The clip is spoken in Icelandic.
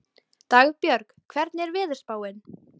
Dagbjörg, hvernig er veðurspáin?